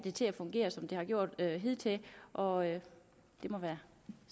det til at fungere som det har gjort hidtil og det må være